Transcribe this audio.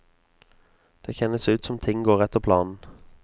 Det kjennes ut som ting går etter planen.